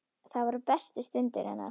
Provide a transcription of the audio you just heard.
Það voru bestu stundir hennar.